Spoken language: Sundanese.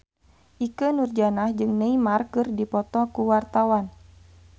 Ikke Nurjanah jeung Neymar keur dipoto ku wartawan